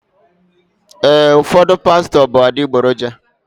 Ee, ụfọdụ pastọ bụ adịgboroja.